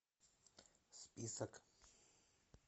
список